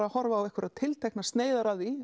að horfa á einhverjar tilteknar sneiðar af því